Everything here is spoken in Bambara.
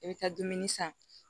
I bɛ taa dumuni san